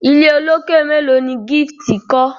ilé olokè melo ní Gift kò?